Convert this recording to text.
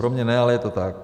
Pro mě ne, ale je to tak.